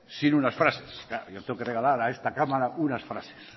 sin unas frases claro yo tengo que regalar a esta cámara unas frases